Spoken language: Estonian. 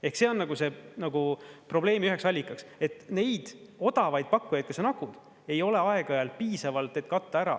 Ehk see on nagu probleemi üheks allikaks, et neid odavaid pakkujaid, kes on …, ei ole aeg-ajalt piisavalt, et katta ära.